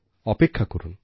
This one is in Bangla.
অপেক্ষা করুন